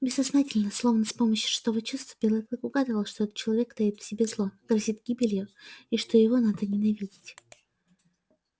бессознательно словно с помощью шестого чувства белый клык угадывал что этот человек таит в себе зло грозит гибелью и что его надо ненавидеть